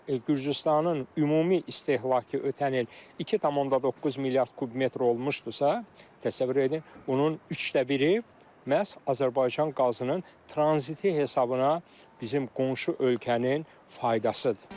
Yəni Gürcüstanın ümumi istehlakı ötən il 2,9 milyard kub metr olmuşdusa, təsəvvür edin bunun üçdə biri məhz Azərbaycan qazının tranziti hesabına bizim qonşu ölkənin faydasıdır.